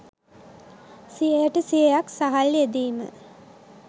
සියයට සියයක් සහල් යෙදීම